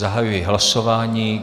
Zahajuji hlasování.